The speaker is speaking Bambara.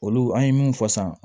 Olu an ye min fɔ sisan